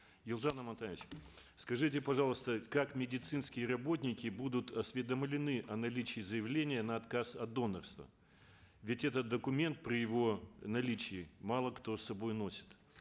елжан амантаевич скажите пожалуйста как медицинские работники будут осведомлены о наличии заявления на отказ от донорства ведь этот документ при его наличии мало кто с собой носит